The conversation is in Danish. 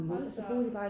Hold da op